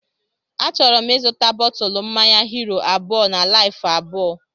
Achọrọ m ịzụta bọtụlu mmanya Hiro abụọ na Laifu abụọ